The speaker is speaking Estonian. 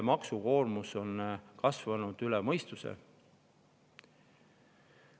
Maksukoormus on kasvanud üle mõistuse.